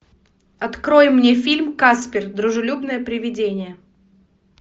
открой мне фильм каспер дружелюбное приведение